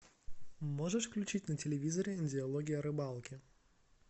можешь включить на телевизоре диалоги о рыбалке